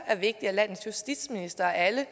er vigtigt at landets justitsminister af alle